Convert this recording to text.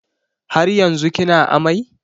Har yanzu kina amai?